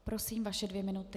Prosím, vaše dvě minuty.